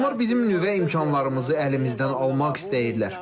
Onlar bizim nüvə imkanlarımızı əlimizdən almaq istəyirlər.